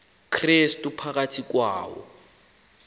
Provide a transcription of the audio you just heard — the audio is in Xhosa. krestu phakathi kwayo